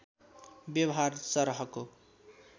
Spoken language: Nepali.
व्यवहार सरहको